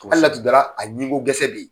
Hali n'a tun dara a ɲinko gɛsɛ de ye.